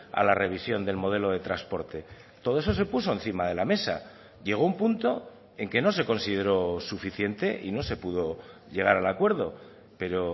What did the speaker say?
a la revisión del modelo de transporte todo eso se puso encima de la mesa llegó un punto en que no se consideró suficiente y no se pudo llegar al acuerdo pero